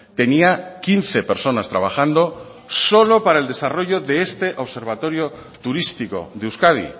tenía quince personas trabajando solo para el desarrollo de este observatorio turístico de euskadi